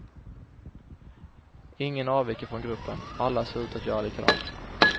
Ingen avviker från gruppen, alla ser ut att göra likadant.